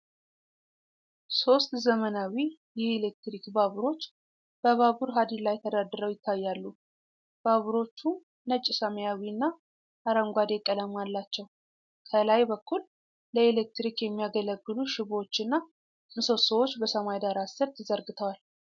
ሦስት ዘመናዊ የኤሌክትሪክ ባቡሮች በባቡር ሀዲድ ላይ ተደርድረው ይታያሉ። ባቡሮቹ ነጭ፣ ሰማያዊና አረንጓዴ ቀለም አላቸው። ከላይ በኩል ለኤሌክትሪክ የሚያገለግሉ ሽቦዎችና ምሰሶዎች በሰማይ ዳራ ስር ተዘርግተዋል።